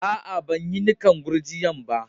Aa, ban yi nikan gurjiya'n ba.